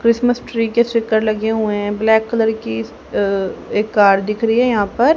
Christmas tree के sticker लगे हुए हैं ब्लैक कलर की अ एक कार दिख रही है यहां पर--